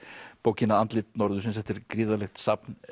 bókina andlit norðursins þetta er gríðarlegt safn